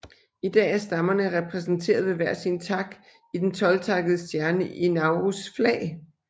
I dag er stammerne repræsenteret ved hver sin tak i den tolvtakkede stjerne i Naurus flag